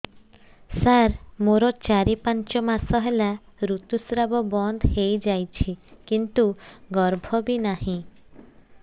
ସାର ମୋର ଚାରି ପାଞ୍ଚ ମାସ ହେଲା ଋତୁସ୍ରାବ ବନ୍ଦ ହେଇଯାଇଛି କିନ୍ତୁ ଗର୍ଭ ବି ନାହିଁ